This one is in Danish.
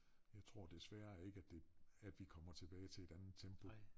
Jeg tror desværre ikke at det at vi kommer tilbage til et andet tempo